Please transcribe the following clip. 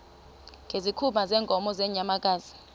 ngezikhumba zeenkomo nezeenyamakazi